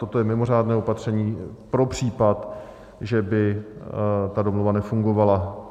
Toto je mimořádné opatření pro případ, že by ta domluva nefungovala.